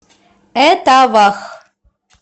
этавах